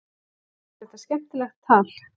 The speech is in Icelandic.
Finnst þér þetta skemmtilegt tal?